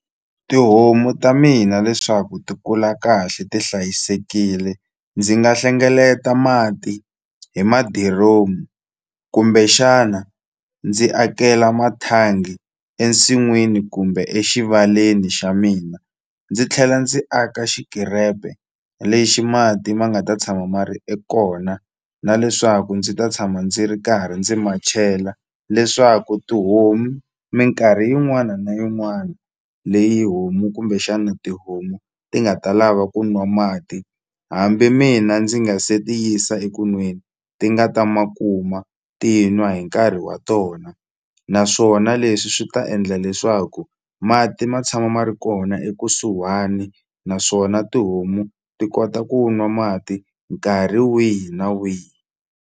Tihomu ta mina leswaku ti kula kahle ti hlayisekile ndzi nga hlengeleta mati hi madiromu kumbe xana ndzi akela mathangi ensin'wini kumbe exivaleni xa mina ndzi tlhela ndzi aka xikirepe lexi mati ma nga ta tshama ma ri e kona na leswaku ndzi ta tshama ndzi ri karhi ndzi ma chela leswaku tihomu minkarhi yin'wana na yin'wana leyi homu kumbexana tihomu ti nga ta lava ku nwa mati hambi mina ndzi nga se ti yisa eku nweni ti nga ta ma kuma ti n'wa hi nkarhi wa tona naswona leswi swi ta endla leswaku mati ma tshama ma ri kona ekusuhani naswona tihomu ti kota ku nwa mati nkarhi wihi na wihi.